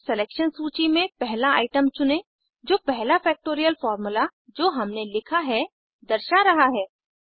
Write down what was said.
फिर सेलेक्शन सूची में पहला आइटम चुनें जो पहला फ़ैक्टोरियल फार्मूला जो हमने लिखा है दर्शा रहा है